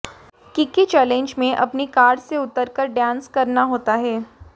Kiki challenge में अपनी car से उतरकर डांस करना होता है